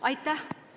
Aitäh!